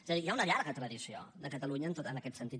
és a dir hi ha una llarga tradició de catalunya en aquest sentit